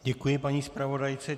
Děkuji paní zpravodajce.